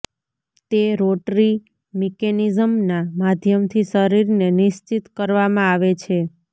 તે રોટરી મિકેનિઝમના માધ્યમથી શરીરને નિશ્ચિત કરવામાં આવે છે